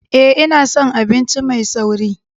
Ee, ina son abinci mai sauri.